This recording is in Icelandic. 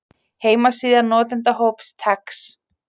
Heimasíða notendahóps TeX.